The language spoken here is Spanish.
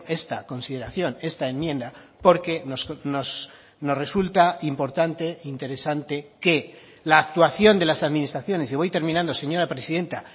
esta consideración esta enmienda porque nos resulta importante interesante que la actuación de las administraciones y voy terminando señora presidenta